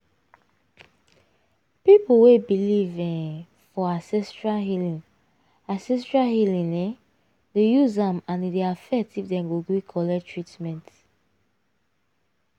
people wey believe um for ancestral healing ancestral healing um dey use am and e dey affect if dem go gree collect treatment.